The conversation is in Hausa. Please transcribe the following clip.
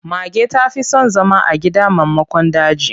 Mage ta fi son zama a gida maimakon daji.